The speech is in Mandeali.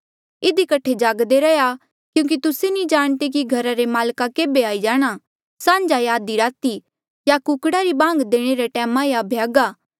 इधी कठे जागदे रैहया क्यूंकि तुस्से नी जाणदे कि घरा रे माल्का केभे आई जाणा सांझा या आधी राती या कुकड़ा री बांग देणे रे टैमा या भ्यागा